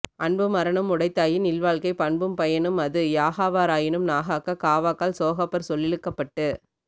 அன்பும் அறனும் உடைத்தாயின் இல்வாழ்க்கை பண்பும் பயனும் அது யாகாவா ராயினும் நாகாக்க காவாக்கால் சோகாப்பர் சொல்லிழுக்குப் பட்டு